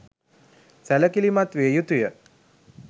සැළකිළිමත් විය යුතු ය.